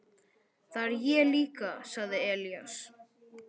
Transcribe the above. Það er ég líka, sagði Elías.